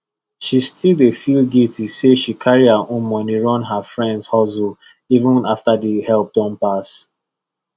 she still dey feel guilty say she carry her own money run her friends hustleeven after the help don pass